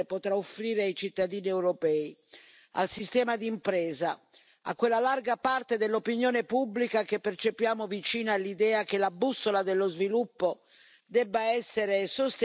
al sistema di impresa, a quella larga parte dell'opinione pubblica che percepiamo vicina all'idea che la bussola dello sviluppo debba essere sostenibile e, quindi, anche inclusiva.